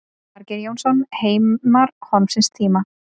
Margeir Jónsson, Heimar horfins tíma.